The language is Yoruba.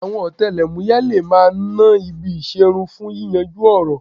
Àwọn ọ̀tẹlẹ̀múyẹ́ le máa ná ibi ìṣerun fún yíyanjú ọ̀ràn